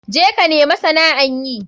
Je ka nemi sana'an yi.